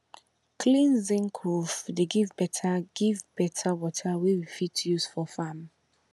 clean zinc roof dey give better give better water wey we fit use for farm